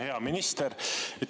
Hea minister!